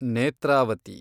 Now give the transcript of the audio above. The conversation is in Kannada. ನೇತ್ರಾವತಿ